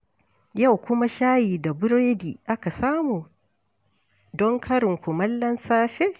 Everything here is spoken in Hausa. Yau kuma shayi da buredi aka samu don karin kumallon safe?